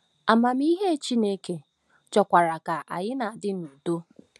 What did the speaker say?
Amamihe Chineke chọkwara ka anyị na-adị n’udo.